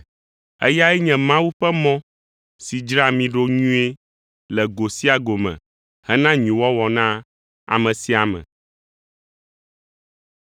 Eyae nye Mawu ƒe mɔ si dzraa mí ɖo nyuie le go sia go me hena nyuiwɔwɔ na ame sia ame.